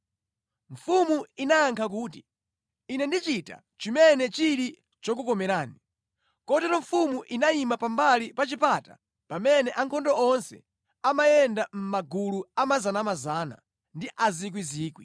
Mfumu inayankha kuti, “Ine ndichita chimene chili chokukomerani.” Kotero mfumu inayima pambali pa chipata pamene ankhondo onse amayenda mʼmagulu a anthu 100 ndi a 1,000.